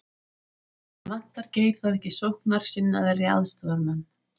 En vantar Geir þá ekki sóknarsinnaðri aðstoðarmann?